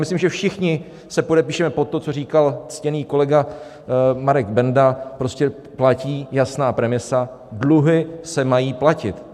Myslím, že všichni se podepíšeme pod to, co říkal ctěný kolega Marek Benda, prostě platí jasná premisa: dluhy se mají platit.